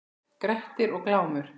Grettir og Glámur